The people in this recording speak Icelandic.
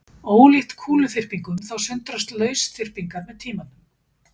Ólíkt kúluþyrpingum þá sundrast lausþyrpingarnar með tímanum.